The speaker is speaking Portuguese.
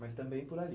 Mas também por ali.